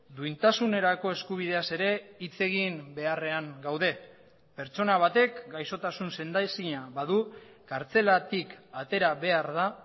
duintasunerako eskubideaz ere hitz egin beharrean gaude pertsona batek gaixotasun sendaezina badu kartzelatik atera behar da